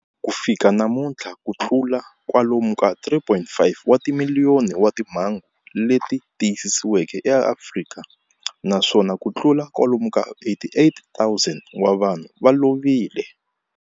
Ku fika namuntlha ku na kutlula kwalomu ka 3.5 wa timiliyoni wa timhangu leti tiyisisiweke eAfrika, naswona kutlula kwalomu ka 88,000 wa vanhu va lovile.